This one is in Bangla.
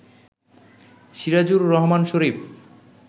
সিরাজুর রহমান শরীফ